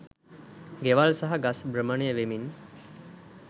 ගෙවල් සහ ගස් භ්‍රමණය වෙමින්